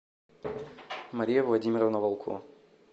мария владимировна волко